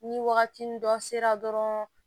Ni wagati ni dɔ sera dɔrɔn